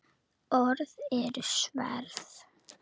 Orð eru sverð.